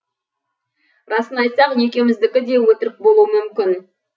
расын айтсақ екеуміздікі де өтірік болуы мүмкін